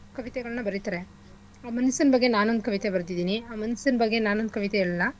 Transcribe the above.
ಕವಿತೆಗಳ್ನ ಬರಿತರೆ ಆ ಮನ್ಸಿನ್ ಬಗ್ಗೆ ನಾನೊಂದ್ ಕವಿತೆ ಬರ್ದಿದಿನಿ ಆ ಮನ್ಸಿನ್ ಬಗ್ಗೆ ನಾನೊಂದ್ ಕವಿತೆ ಹೇಳ್ಲಾ